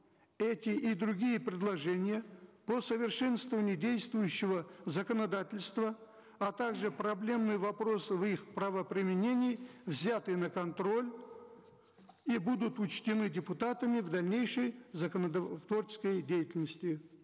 эти и другие предложения по совершенствованию действующего законодательства а также проблемные вопросы в их правоприменении взяты на контроль и будут учтены депутатами в дальнейшей творческой деятельности